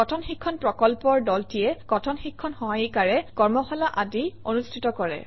কথন শিক্ষণ প্ৰকল্পৰ দলটিয়ে কথন শিক্ষণ সহায়িকাৰে কৰ্মশালা আদি অনুষ্ঠিত কৰে